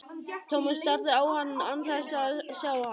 Thomas starði á hann án þess að sjá hann.